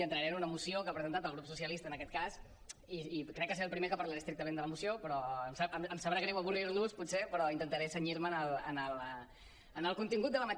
i entraré en una moció que ha presentat el grup socialista en aquest cas i crec que seré el primer que parlaré estrictament de la moció però em sabrà greu avorrir los potser però intentaré cenyir me al seu contingut